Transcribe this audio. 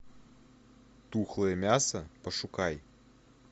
тухлое мясо пошукай